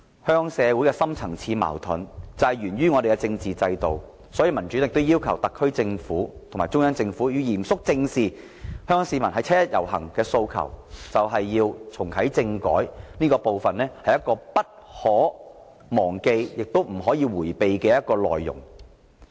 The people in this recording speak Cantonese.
香港社會的深層次矛盾源於我們的政治制度，所以民主黨要求特區政府和中央政府要嚴肅正視香港市民於七一遊行的訴求，就是要重啟政改，這是不可忘記亦不能迴避的內容。